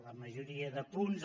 la majoria de punts